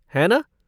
है ना?